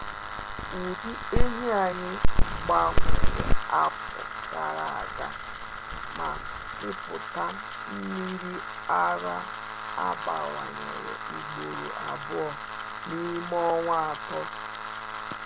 Ụdị ehi anyị gbanwere afọ gara aga, ma mmịpụta nmiri ara abawanyere ugboro abụọ n’ime ọnwa atọ.